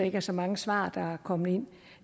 ikke er så mange svar der er kommet ind